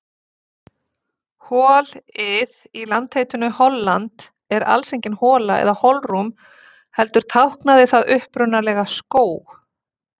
Hol-ið í landaheitinu Holland er alls engin hola eða holrúm heldur táknaði það upprunalega skóg.